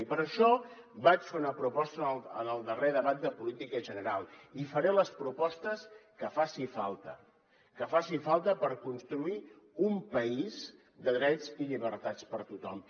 i per això vaig fer una proposta en el darrer debat de política general i faré les propostes que faci falta que faci falta per construir un país de drets i llibertats per a tothom